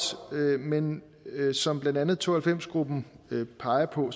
men som blandt andet to og halvfems gruppen peger på